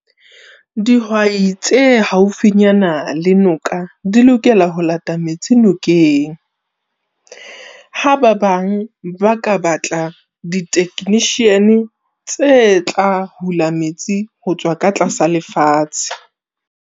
Dihwai tse haufinyana le noka di lokela ho lata metsi nokeng. Ha ba bang ba ka batla di-technician tse tla hula metsi ho tswa ka tlasa lefatshe.